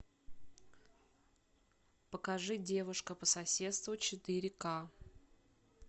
покажи девушка по соседству четыре к